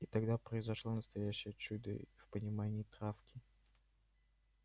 и тогда произошло настоящее чудо в понимании травки